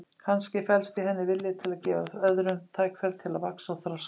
Kannski felst í henni vilji til að gefa öðrum tækifæri til að vaxa og þroskast.